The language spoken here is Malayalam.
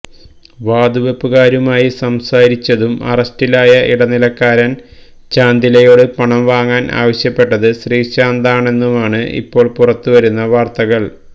വാതുവെപ്പുകാരുമായി സംസാരിച്ചതും അറസ്റ്റിലായ ഇടനിലക്കാരന് ചാന്ദിലയോട് പണം വാങ്ങാന് ആവശ്യപ്പെട്ടത് ശ്രീശാന്താണെന്നുമാണ് ഇപ്പോള് പുറത്തു വരുന്ന വാര്ത്തകള്